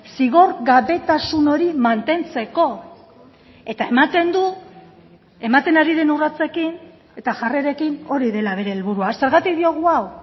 zigorgabetasun hori mantentzeko eta ematen du ematen ari den urratsekin eta jarrerekin hori dela bere helburua zergatik diogu hau